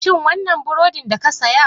Shin wannan burodin da ka saya?